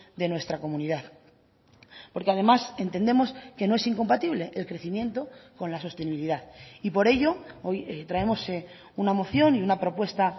de nuestra comunidad porque además entendemos que no es incompatible el crecimiento con la sostenibilidad y por ello hoy traemos una moción y una propuesta